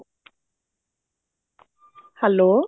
hello